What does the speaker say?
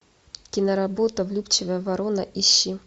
киноработа влюбчивая ворона ищи